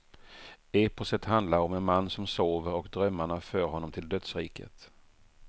Eposet handlar om en man som sover och drömmarna för honom till dödsriket.